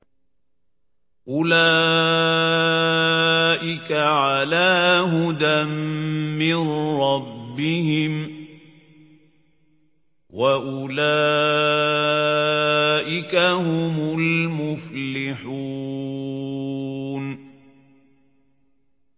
أُولَٰئِكَ عَلَىٰ هُدًى مِّن رَّبِّهِمْ ۖ وَأُولَٰئِكَ هُمُ الْمُفْلِحُونَ